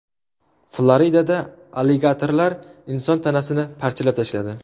Floridada aligatorlar inson tanasini parchalab tashladi.